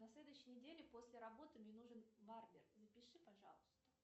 на следующей неделе после работы мне нужен барбер запиши пожалуйста